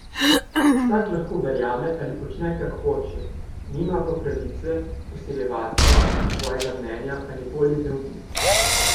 Vsak lahko verjame ali počne, kar hoče, nima pa pravice vsiljevati svojega mnenja ali volje drugim.